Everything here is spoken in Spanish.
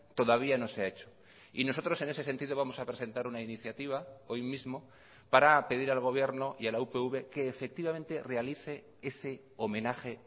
todavía no se ha hecho y nosotros en ese sentido vamos a presentar una iniciativa hoy mismo para pedir al gobierno y a la upv que efectivamente realice ese homenaje